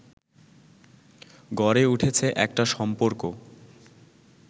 গড়ে উঠেছে একটা সম্পর্ক